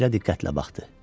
Şəklə diqqətlə baxdı.